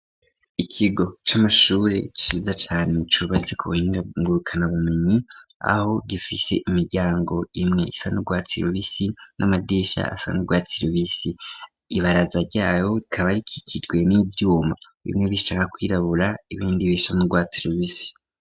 Ikigo c'amashuri ciza cane cubatse ku bahinga ngurukanabumenyi, aho gifise imiryango imwe isa n'urwatsi rubisi, n'amadisha asa n'urwatsi rubisi. Ibaraza ryayo rikaba rikikijwe n'ivyuma, bimwe bishaka kwirabura ibindi bisa n'urwatsi rubisi.